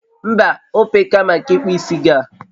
Mba, ope ka maka ikpu isi gị a